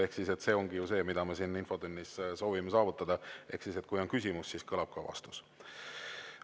Ehk siis see ongi ju see, mida me siin infotunnis soovime saavutada: kui on küsimus, siis kõlab ka vastus.